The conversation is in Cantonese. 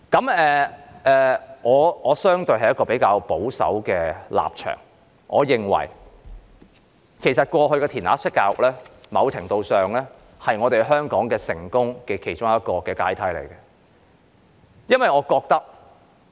我的立場相對保守，我認為過去的"填鴨式"教育在某程度上是香港成功的其中一個階梯。